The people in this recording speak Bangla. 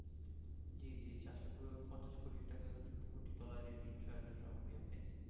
জী জী চারসপঞ্চাস কোটি হচ্ছে পাইছে